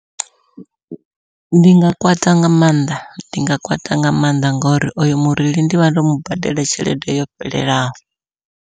Ndi nga kwata nga maanḓa ndi nga kwata nga maanḓa ngori oyo mureili ndivha ndo mubadela tshelede yo fhelelaho.